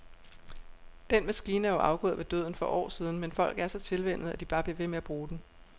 Den maskine er jo afgået ved døden for år siden, men folk er så tilvænnet, at de bare bliver ved med at bruge den.